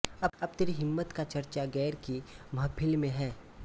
अब तेरी हिम्मत का चरचा ग़ैर की महफ़िल में है